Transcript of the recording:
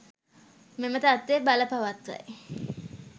මෙම තත්ත්වය බලපවත්වයි